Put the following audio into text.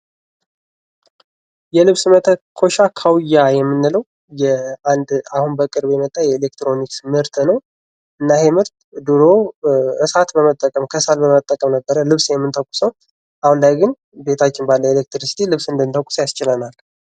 የልብስ መተኮሻ ካውያ የምንለው የአንድ አሁን በቅርብ የመጣ የኤሌክትሮኒክስ ምርት ነው::እና ይሄ ምርት ድሮ እሳት በመጠቀም ከሰል በመጠቀም ነበረ ልብስ የምንተኩሰው አሁን ላይ ግን ቤታችን ባለ ኤሌክትሪክሲቲ ልብስ እንድንተኩስ ያስችለናል::